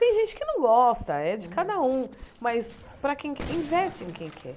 Tem gente que não gosta, é de cada um, mas para quem, investe em quem quer.